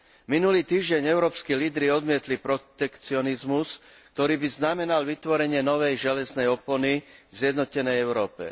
Minulý týždeň európski lídri odmietli protekcionizmus, ktorý by znamenal vytvorenie novej železnej opony v zjednotenej Európe.